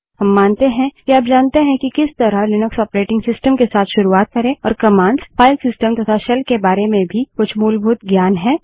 हम मानते हैं कि आप जानते हैं कि किस तरह लिनक्स ऑपरेटिंग सिस्टम के साथ शुरुआत करे और कमांड्स फाइल सिस्टम तथा शेल के बारे में कुछ मूलभूत ज्ञान भी है